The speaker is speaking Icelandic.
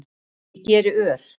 Ég geri ör